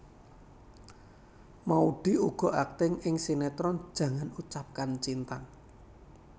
Maudy uga akting ing sinetron Jangan Ucapkan Cinta